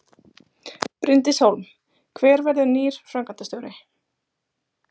Bryndís Hólm: Hver verður nýr framkvæmdastjóri?